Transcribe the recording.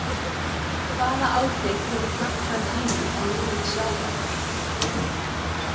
Hvaða áhrif hefur hnattræn hlýnun á lífríki sjávar?